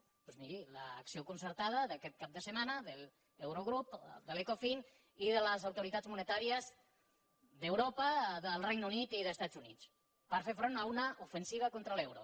doncs miri l’acció concertada d’aquest cap de setmana de l’eurogrup de l’ecofin i de les autoritats monetàries d’europa del regne unit i dels estats units per fer front a una ofensiva contra l’euro